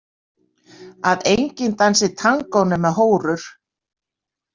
Að enginn dansi tangó nema hórur?